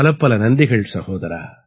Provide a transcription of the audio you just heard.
பலப்பல நன்றிகள் சகோதரா